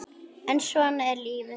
En svona er lífið.